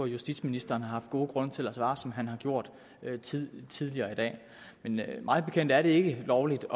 justitsministeren har haft gode grunde til at svare som han har gjort tidligere tidligere i dag men mig bekendt er det ikke lovligt